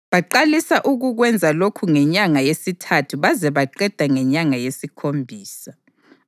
Baqalisa ukukwenza lokhu ngenyanga yesithathu baze baqeda ngenyanga yesikhombisa.